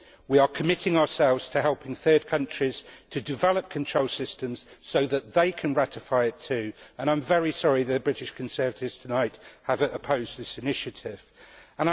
We are committing ourselves to helping third countries to develop control systems so that they can ratify it too, and I am very sorry that the British Conservatives have opposed this initiative tonight.